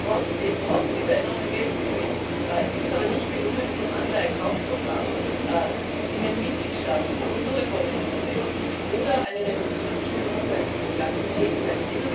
Trotz dieser enormen Geldmengen ist es aber nicht gelungen, mit dem Anleihekaufprogramm in den Mitgliedstaaten Strukturreformen umzusetzen oder eine Reduktion der Verschuldung herbeizuführen. Ganz im Gegenteil.